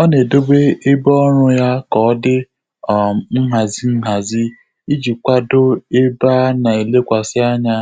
Ọ́ nà-édòbé ébé ọ́rụ́ yá kà ọ́ dị́ um nhàzị́ nhàzị́ ìjí kwàdò ébé á nà-élékwàsị́ ányá